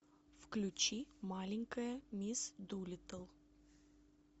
включи маленькая мисс дулиттл